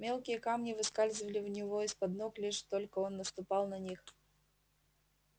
мелкие камни выскальзывали у него из под ног лишь только он наступал на них